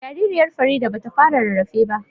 Jaririyar Farida ba ta fara rarrafe ba